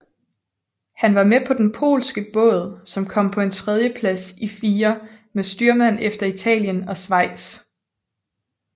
Han var med på den polske båd som kom på en tredjeplads i fire med styrmand efter Italien og Schweiz